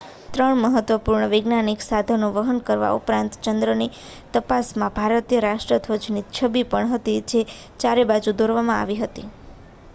3 મહત્વપૂર્ણ વૈજ્ઞાનિક સાધનો વહન કરવા ઉપરાંત ચંદ્રની તપાસમાં ભારતીય રાષ્ટ્રધ્વજની છબી પણ હતી જે ચારે બાજુ દોરવામાં આવી હતી